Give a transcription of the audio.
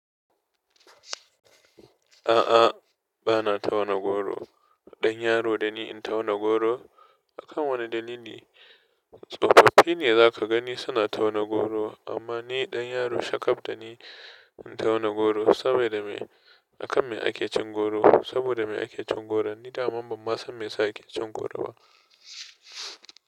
A'a, ba na tauna goro. Dan yaro da ni in tauna goro? Akan wane dalili? Tsofaffi ne za ka gani suna tauna goro amma ni dan yaro shakaf da ni in tauna goro saboda me, akan me ake cin goro. Saboda me ake cin goro? Ni dama ban ma san me ya sa ake cin goro ba.